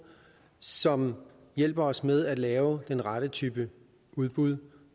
som hjælper os med at lave den rette type af udbud